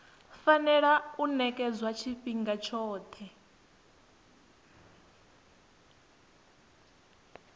fanela u ṅetshedzwa tshifhinga tshoṱhe